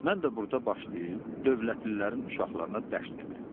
Mən də burda başlayım dövlətlilərin uşaqlarına dərs deməyə.